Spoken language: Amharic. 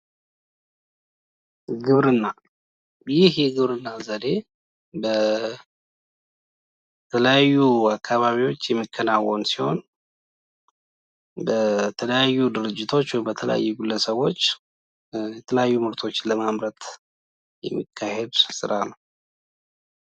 ግብርና :- ይህ የግብርና ዘዴ በተለያዩ አካባቢዎች የሚከናወን ሲሆን በተለያዩ ድርጅቶች ወይም በተለያዩ ግለሰቦች የተለያዩ ምርቶችን ለማምረት የሚከናወን ስራ ነው።